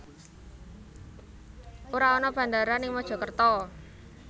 Ora ana bandara ning Mojokerto